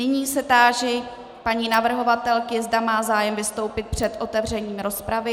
Nyní se táži paní navrhovatelky, zda má zájem vystoupit před otevřením rozpravy.